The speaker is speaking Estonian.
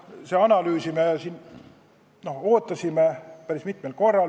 Seda analüüsi me ootasime päris mitmel korral.